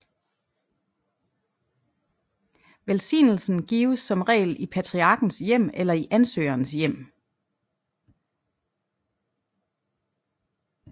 Velsignelsen gives som regel i patriarkens hjem eller i ansøgerens hjem